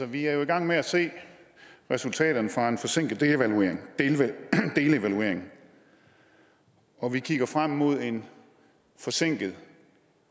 vi er jo i gang med at se resultaterne fra en forsinket delevaluering og vi kigger frem mod en forsinket